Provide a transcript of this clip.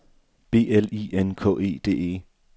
B L I N K E D E